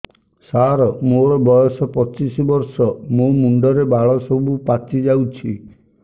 ସାର ମୋର ବୟସ ପଚିଶି ବର୍ଷ ମୋ ମୁଣ୍ଡରେ ବାଳ ସବୁ ପାଚି ଯାଉଛି